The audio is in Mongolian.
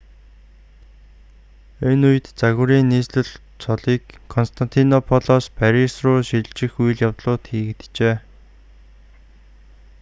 энэ үед загварын нийслэл цолыг константинополоос парис руу шилжих үйл явдлууд хийгджээ